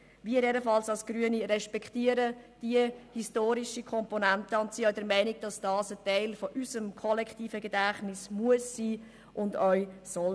Wir als Grüne respektieren diese historische Komponente und sind auch der Meinung, dass dies Teil unseres kollektiven Gedächtnisses sein muss und sein soll.